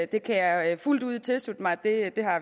det kan jeg fuldt ud tilslutte mig at